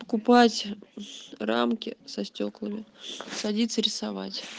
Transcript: покупать рамки со стёклами садится рисовать